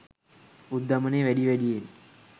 උද්ධමනය වැඩි වැඩියෙන්